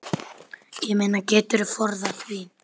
Ég meina, geturðu forðað því?